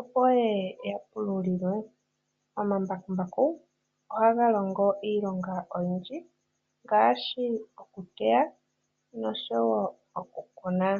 opo ye ye ya pululilwe. Omambakumbaku ohaga longo iilonga oyindji ngaashi okuteya osho wo okukuna.